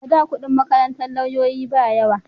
A da kudin makarantar lauyoyi ba yawa